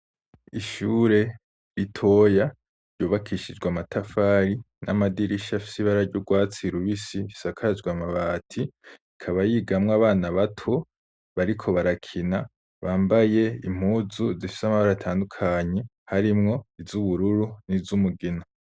Ishure ritoya ryubakishijw' amatafari n'amadirisha afis'ibara ry' ugwatsi rubisi isakajw' amabati ikaba yigamw'abana bato bariko barakina bambaye impuzu zifis' amabar'atandukanye harimwo iz'ubururu niz'umugina